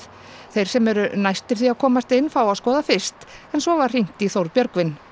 þeir sem eru næstir því að komast inn fá að skoða fyrst en svo var hringt í Þórð Björgvin